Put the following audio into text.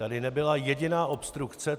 Tady nebyla jediná obstrukce.